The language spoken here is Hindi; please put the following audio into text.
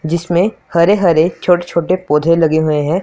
जिसमें हर हर छोटे छोटे पौधे लगे हुए हैं।